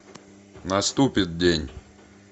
наступит день